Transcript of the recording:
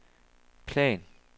plan